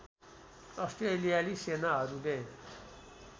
अस्ट्रेलियाली सेनाहरूले